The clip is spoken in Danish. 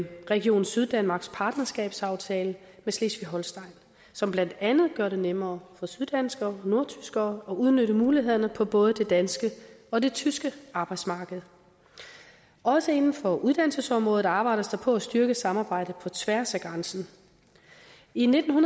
region syddanmarks partnerskabsaftale med slesvig holstein som blandt andet gør det nemmere for syddanskere og nordtyskere at udnytte mulighederne på både det danske og tyske arbejdsmarked også inden for uddannelsesområdet arbejdes der på at styrke samarbejdet på tværs af grænsen i nitten